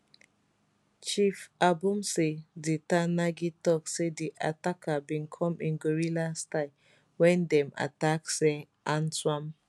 chief abomtse di ter nagi tok say di attackers bin come in guerrilla style wen dem attack tse antswam